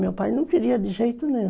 Meu pai não queria de jeito nenhum.